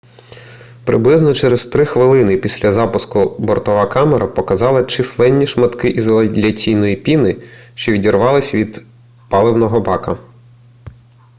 приблизно через 3 хвилини після запуску бортова камера показала численні шматки ізоляційної піни що відривалися від паливного бака